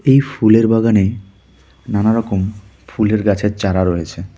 এই ফুলের বাগানে নানা রকম ফুলের গাছের চারা রয়েছে।